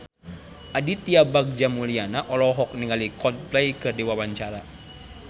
Aditya Bagja Mulyana olohok ningali Coldplay keur diwawancara